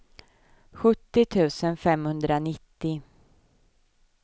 sjuttio tusen femhundranittio